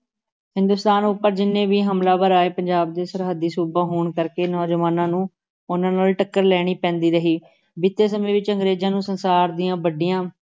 ਹਿੰਦੁਸਤਾਨ ਉੱਪਰ ਜਿੰਨੇ ਵੀ ਹਮਲਾਵਰ ਆਏ ਪੰਜਾਬ ਦੇ ਸਰਹੱਦੀ ਸੂਬਾ ਹੋਣ ਕਰਕੇ ਨੌਜਵਾਨਾਂ ਨੂੰ ਉਨ੍ਹਾਂ ਨਾਲ ਟੱਕਰ ਲੈਣੀ ਪੈਂਦੀ ਰਹੀ, ਬੀਤੇ ਸਮੇਂ ਵਿਚ ਅੰਗਰੇਜ਼ਾਂ ਨੂੰ ਸੰਸਾਰ ਦੀਆਂ ਵੱਡੀਆਂ